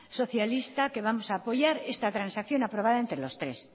socialista que vamos a apoyar esta transacción aprobada entre los tres